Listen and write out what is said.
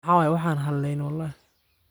Maxa waye , wan xaleyni wlxi.